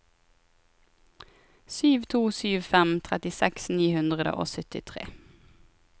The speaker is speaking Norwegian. sju to sju fem trettiseks ni hundre og syttitre